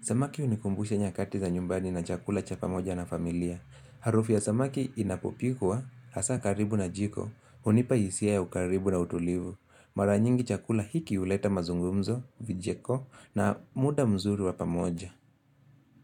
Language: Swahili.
Samaki hunikumbusha nyakati za nyumbani na chakula cha pamoja na familia Harufu ya samaki inapopikwa Hasa karibu na jiko hunipa hisiaa ya ukaribu na utulivu Mara nyingi chakula hiki huleta mazungumzo, vicheko na muda mzuri wa pamoja.